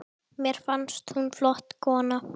Þóra Nanna.